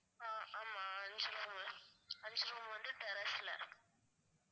ஆஹ் ஆமா அஞ்சி room உ அஞ்சி room வந்து terrace ல